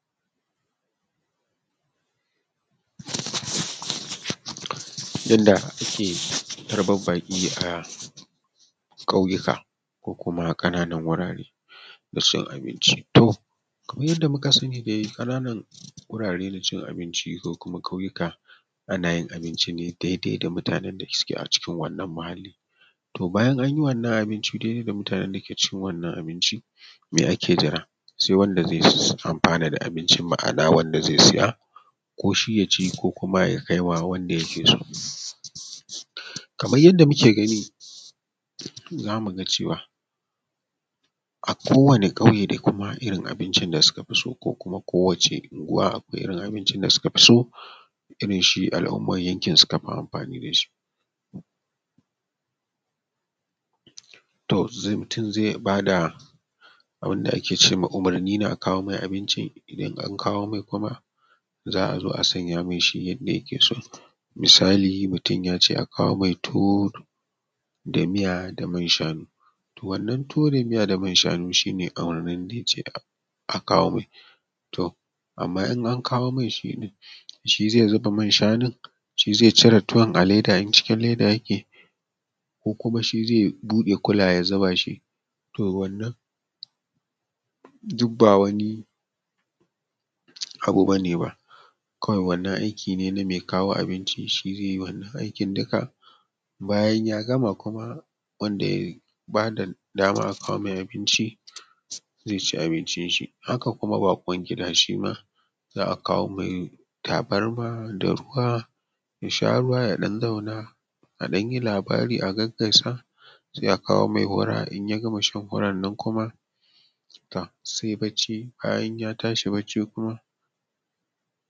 Yadda ake tarban baki a ƙauyuka, ko kuma na kananun wurare cin abinci kamar yadda muka sani dai ƙana nan wurare na cin abinci ko kuma ƙauyuka ana yin abinci ne daidai da mutanen da suke a cikin wannan muhali, to bayan an yi wannan abinci daidai da mutane ma ake jira sai wanda zai amfana da abinci ma’ana wanda zai siya ko shi yaci ko ya kaiwa wanda yake so kamar yadda muke gani zamu ga cewa a kowani ƙauye dai kuma akwai irin abincin da suka fi so kuma kowace unguwa akwai abincin da sukafi so, irin shi al’umman yankin sukafi amfani da shi to mutum zai iya bada abin da ake cema umurni da a kawo mishi abinci idan an kawo mai kuma za a zo a sanya mai shi yanda yake so, misali mutum yace a kawo mai tuwo da miya da man shanu, to wannan tuwo da man shanu shi ne shi ne a wannan abin da yace a kawo mai to amma in a kawo mai shi ɗin shi zai zuba man shanun shi zai cire tuwon a leda in cikin leda yake ko kuma shi zai buɗe kulayen ya zuba shi, to wannan duk ba wani abu bane ba kawai wannan aiki ne name kawo abinci shi zai yi aikin duka bayan ya gama kuma wanda ya bada daman a kawo mai abinci zai ci abincin shi haka kuma baƙwan gida shima za a kawo mai tabarma da ruwa ya sha ruwa yaɗan zauna a ɗanyi labari a gaisa sai a kawo mai hura in ya gama shan hurar nan kuma tom sai bacci bayan ya tashi wannan bacci kuma.